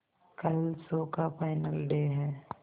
कल शो का final day है